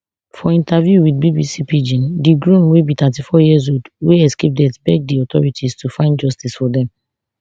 for interview wit bbc pidgin di groom wey be thirty-four years old wey escape death beg di authorities to find justice for dem